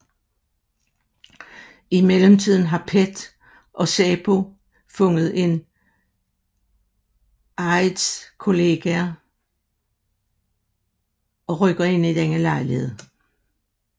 I mellemtiden har PET og SÄPO fundet en af Iyads kollegaer og rykker ind i denne lejlighed